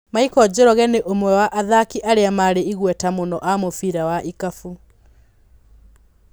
Michael Njoroge nĩ ũmwe wa athaki arĩa marĩ igweta mũno a mũbira wa ikapũ.